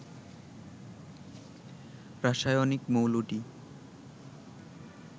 রাসায়নিক মৌলটি